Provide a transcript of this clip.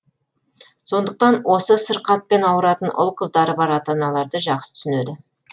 сондықтан осы сырқатпен ауыратын ұл қыздары бар ата аналарды жақсы түсінеді